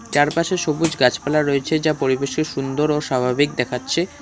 চারপাশে সবুজ গাছপালা রয়েছে যা পরিবেশকে সুন্দর ও স্বাভাবিক দেখাচ্ছে।